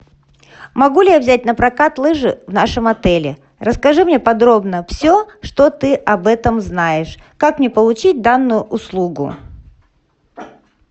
могу ли я взять напрокат лыжи в нашем отеле расскажи мне подробно все что ты об этом знаешь как мне получить данную услугу